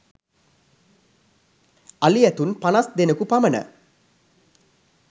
අලි ඇතුන් පනස් දෙනෙකු පමණ